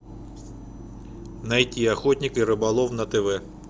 найти охотник и рыболов на тв